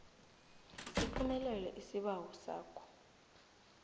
siphumelele isibawo sakho